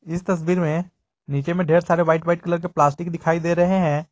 इस तस्वीर में नीचे में ढेर सारे व्हाइट व्हाइट कलर के प्लास्टिक दिखाई दे रहे हैं।